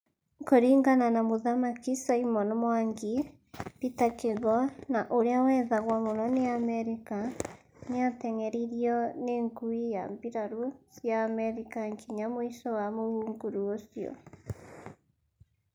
Kũringana na mũthamaki Simon Mwangi, Peter Kigo na ũrĩa wethagwo mũno nĩ Amerika, nĩateng’eririo nĩ ngui ya mbirarũ cia Amerika nginya mũico wa mũhunguru ucio